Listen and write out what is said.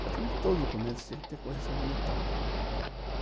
Praticamente todos os documentos tinham que ter correção monetária, né.